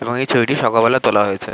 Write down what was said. এবং এই ছবিটি সকালবেলা তোলা হয়েছে।